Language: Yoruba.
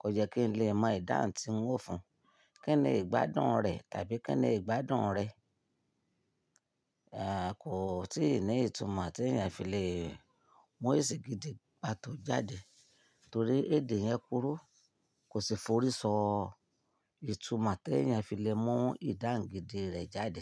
kò jẹ́ kí n lè mọ ìdáhùn tí hun o fún. Kí ni ìgbádùn rẹ̀ tàbí kí ni ìgbádùn rẹ̀, eh, kò tíì ní ìtumọ̀ tí èèyàn fi lè mú esì gidì pàtó jáde. Torí èdè yẹn kúrú, kò sì forí ṣọ ìtumọ̀ tí èèyàn fi lè mú ìdáhùn gidi rẹ̀ jáde.